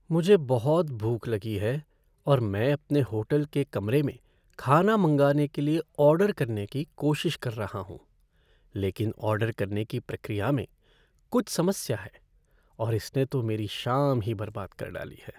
मुझे बहुत भूख लगी है, और मैं अपने होटल के कमरे में खाना मंगाने के लिए ऑर्डर करने की कोशिश कर रहा हूँ, लेकिन ऑर्डर करने की प्रक्रिया में कुछ समस्या है, और इसने तो मेरी शाम ही बर्बाद कर डाली है।